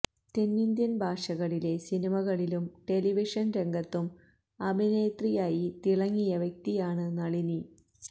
തെന്നിന്ത്യൻ ഭാഷകളിലെ സിനിമകളിലും ടെലിവിഷൻ രംഗത്തും അഭിനേത്രിയായി തിളങ്ങിയ വ്യക്തിയാണ് നളിനി